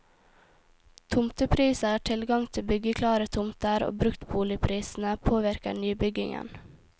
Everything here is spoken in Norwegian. Tomtepriser, tilgang til byggeklare tomter og bruktboligprisene påvirker nybyggingen.